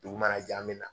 Dugu mana jɛ an bɛ na